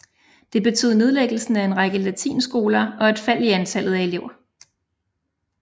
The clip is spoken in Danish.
Det betød nedlæggelsen af en række latinskoler og et fald i antallet af elever